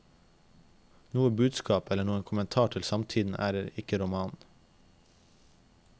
Noe budskap eller noen kommentar til samtiden er det ikke i romanen.